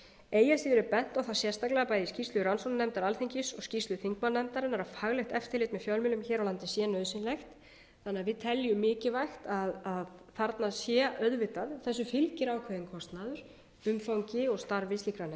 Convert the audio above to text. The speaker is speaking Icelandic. eigi að síður er bent á það sérstaklega bæði í skýrslu rannsóknarnefndar alþingis og skýrslu þingmannanefndarinnar að faglegt eftirlit með fjölmiðlum hér á landi sé nauðsynlegt þannig að við teljum mikilvægt að þarna sé auðvitað þessu fylgir ákveðinn kostnaður umfangi og starfi slíkrar